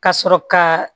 Ka sɔrɔ ka